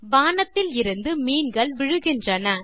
வானத்தில் இருந்து மீன்கள் விழுகின்றன